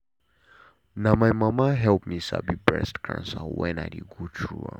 na my mama help me sabi breast cancer wen i dey go through am.